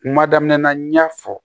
Kuma daminɛ na n y'a fɔ